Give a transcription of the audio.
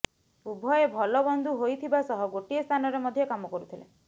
ଉଭୟେ ଭଲ ବନ୍ଧୁ ହୋଇଥିବା ସହ ଗୋଟିଏ ସ୍ଥାନରେ ମଧ୍ୟ କାମ କରୁଥିଲେ